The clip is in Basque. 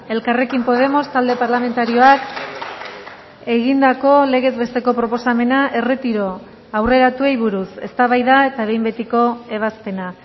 elkarrekin podemos talde parlamentarioak egindako legez besteko proposamena erretiro aurreratuei buruz eztabaida eta behin betiko ebazpena